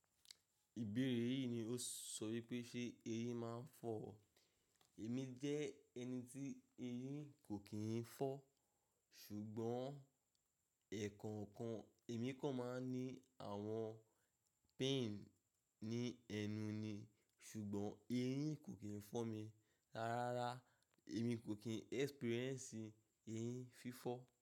Ìbéèrè yìí ni ó sọ wípé ṣe eyín máa ń fọ̀ ọ́? Èmi jẹ́ ẹni tí eyín kò kí n fọ̀, ṣùgbọ́n ẹ̀kànkan èmi kò máa ń ní àwọn pain ní ẹnu ni ṣùgbọ́n eyín kò kí n fọ̀ mi. Rárá rárá, èmi kò kí n experience eyín fífọ́.